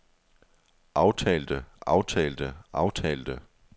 aftalte aftalte aftalte